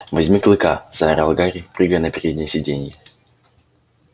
возьми клыка заорал гарри прыгая на переднее сиденье